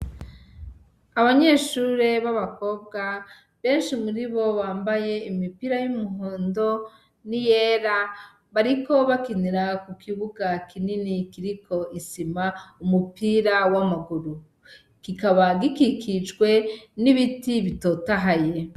Abanyeshure b'abakobwa benshi muri bo bambaye imipira y'umuhondo ni yera bariko bakinira ku kibuga kinini kiriko isima umupira w'amaguru kikaba gikikijwe n'ibiti bitotahaye.